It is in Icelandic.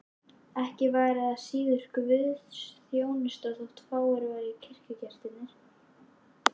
Ekki væri það síður guðsþjónusta þótt fáir væru kirkjugestirnir.